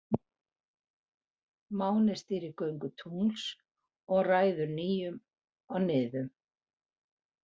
Máni stýrir göngu tungls og ræður nýjum og niðum.